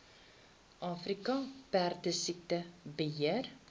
afrika perdesiekte beheer